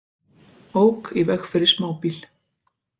Ók í veg fyrir smábíl